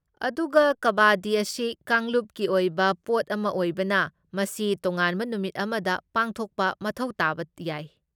ꯑꯗꯨꯒ ꯀꯕꯥꯗꯤ ꯑꯁꯤ ꯀꯥꯡꯂꯨꯞꯀꯤ ꯑꯣꯏꯕ ꯄꯣꯠ ꯑꯃ ꯑꯣꯏꯕꯅ, ꯃꯁꯤ ꯇꯣꯉꯥꯟꯕ ꯅꯨꯃꯤꯠ ꯑꯃꯗ ꯄꯥꯡꯊꯣꯛꯄ ꯃꯊꯧ ꯇꯥꯕ ꯌꯥꯏ꯫